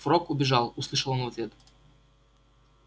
фрог убежал услышал он в ответ